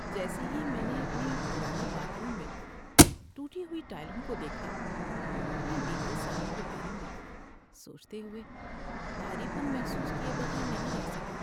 جیسے ہی میں نے اپنے پرانے باتھ روم میں ٹوٹی ہوئی ٹائلوں کو دیکھا، میں بتیے سالوں کے بارے میں سوچتے ہوئے، بھاری پن محسوس کیے بغیر نہیں رہ سکا۔